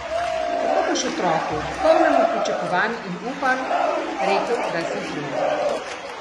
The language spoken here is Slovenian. Kako boš otroku, polnemu pričakovanj in upanj, rekel, da si utrujen?